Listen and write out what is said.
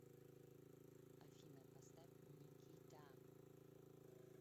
афина поставь никита